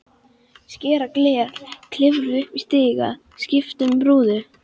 Skera gler, klifra upp í stiga, skipta um rúður.